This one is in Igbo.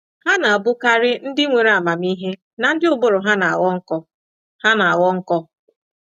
Ha na-abụkarị ndị nwere amamihe na ndị ụbụrụ ha na-aghọ nkọ. ha na-aghọ nkọ. ”